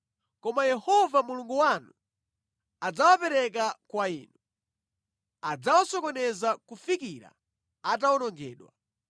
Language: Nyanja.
Koma Yehova Mulungu wanu adzawapereka kwa inu, adzawasokoneza kufikira atawonongedwa.